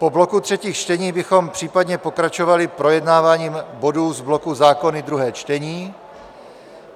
Po bloku třetích čteních bychom případně pokračovali projednáváním bodů z bloku zákony, druhé čtení.